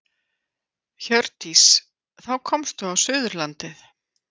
Hjördís: Þá komstu á Suðurlandið?